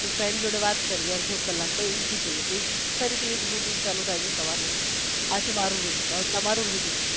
પછી friend જોડે વાત કરી અડધો કલાક પછી ઊંઘી જાયે પછી ફરીથી એ જ routine ચાલુ થાય છે સવાર થી આ છે મારુ રોજ નું હવે તમારું routine